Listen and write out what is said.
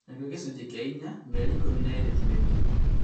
Nakĩo gĩcunjĩ kĩa inya mĩeri ikũmi na ĩĩrĩ ti-mĩthiru